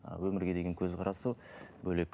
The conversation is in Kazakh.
ы өмірге деген көзқарасы бөлек ы